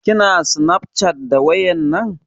Kina snafcat da wayar nan?